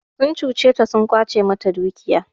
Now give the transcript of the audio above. Sun cuce ta sun ƙwace mata dukiya.